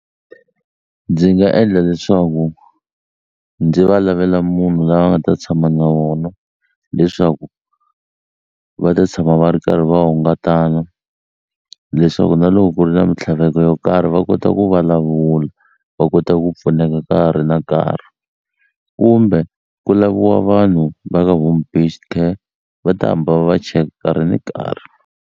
Ndzi nga endla leswaku ndzi va lavela munhu la nga ta tshama na vona leswaku va ta tshama va ri karhi va hungatana leswaku na loko ku ri na mintlhaveko yo karhi va kota ku vulavula va kota ku pfuneka ka ha ri na nkarhi kumbe ku laviwa vanhu va ka Home Based Care va ta hamba va va check nkarhi ni nkarhi.